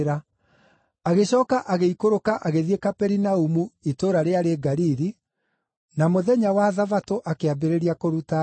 Agĩcooka agĩikũrũka, agĩthiĩ Kaperinaumu, itũũra rĩarĩ Galili, na mũthenya wa Thabatũ akĩambĩrĩria kũruta andũ.